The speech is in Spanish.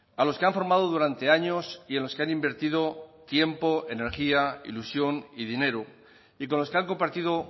a los que han formado durante años y en los que han invertido tiempo energía ilusión y dinero y con los que han compartido